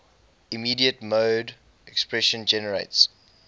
immediate mode expression generates